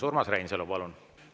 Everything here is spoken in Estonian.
Urmas Reinsalu, palun!